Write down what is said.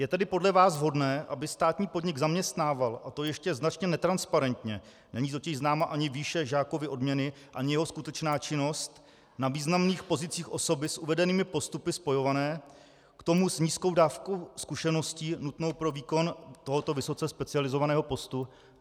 Je tedy podle vás vhodné, aby státní podnik zaměstnával, a to ještě značně netransparentně - není totiž známa ani výše Žákovy odměny ani jeho skutečná činnost - na významných pozicích osoby s uvedenými postupy spojované, k tomu s nízkou dávkou zkušeností nutnou pro výkon tohoto vysoce specializovaného postu?